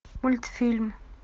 мультфильм